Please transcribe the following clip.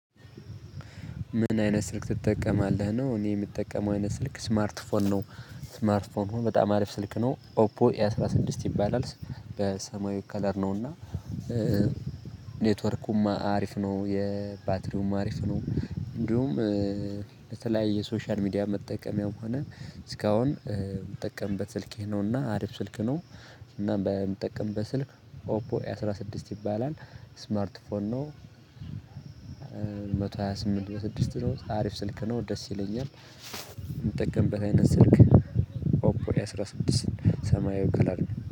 ምን አይነት ስልክ ትጠቀማለህ ነው? እኔ የምጠቀመው አይነት ስልክ ስማርት ፎን ነው። ስማርት ፎን ነው በጣም አሪፍ ስልክ ነው ኦፖ ኤ አስራ ስድስት ይባላል። በሰማያዊ ከለር ነውና። ኔትወርኩም አሪፍ ነው የባትሪውም አሪፍ ነው። እንዲሁም በተለይ የሶሻል ሚዲያ መጠቀሚያውም ሆነ። እስካሁን የምጠቀምበት ስልኬ ነውና አሪፍ ስልክ ነው። እና በምጠቀምበት በስልክ ኦፖ ኤ አስራ ስድስት ይባላል ስማርት ፎን ነው። መቶ ሃያ ስምንት በስድስት ነው አሪፍ ስልክ ነው ደስ ይለኛል። የምጠቀምበት አይነት ስልክ። ኦፖር ኤ አስራ ስድስት ሰማያዊ ከለር ነው